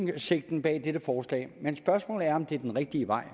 hensigten med dette forslag men spørgsmålet er om det er rigtige vej